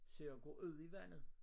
Så jeg går ud i vandet